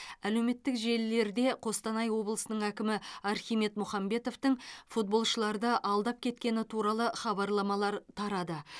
әлеуметтік желілерде қостанай облысының әкімі архимед мұхамбетовтің футболшыларды алдап кеткені туралы хабарламалар тарады